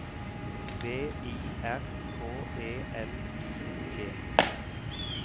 V I R K E L I G